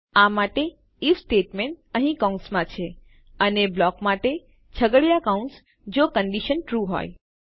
આ માટે IF statement અહીં કૌંસમાં છે અને બ્લોક માટે આપણા છગડીયા કૌંસ જો કંડીશન ટ્રૂ હોય